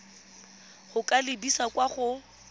go ka lebisa kwa go